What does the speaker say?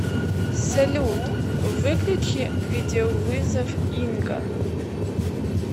салют выключи видеовызов инга